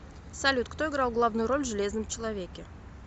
салют кто играл главную роль в железном человеке